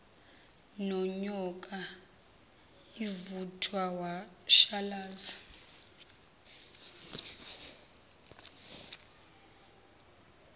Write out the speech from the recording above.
nonyoka ivuthwa washalaza